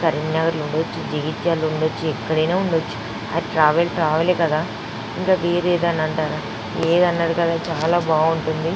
కరీంనగర్లో ఉండొచ్చు. ఎక్కడైనా ఉండొచ్చు. ట్రావెలే కదా మీరే చూశారు కదా చాలా బాగుంటుంది.